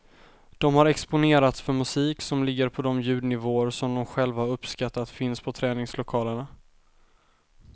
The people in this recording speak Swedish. De har exponerats för musik som ligger på de ljudnivåer som de själva har uppskattat finns på träningslokalerna.